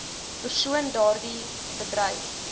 persoon daardie bedryf